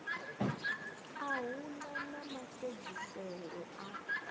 a hu na mafhedziselo a